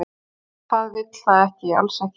"""Það vill það ekki, alls ekki."""